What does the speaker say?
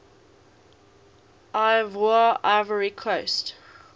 ivoire ivory coast